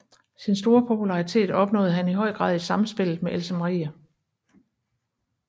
Sin store popularitet opnåede han i høj grad i samspillet med Else Marie